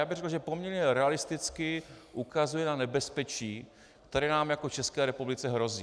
Já bych řekl, že poměrně realisticky ukazuje na nebezpečí, které nám jako České republice hrozí.